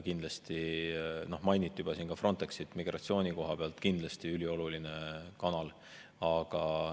Siin juba mainiti Frontexit – migratsiooni koha pealt on see kindlasti ülioluline kanal.